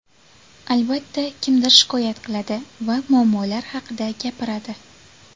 Albatta, kimdir shikoyat qiladi va muammolar haqida gapiradi.